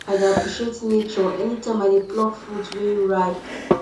i dey appreciate nature anytime i dey pluck fruit wey ripe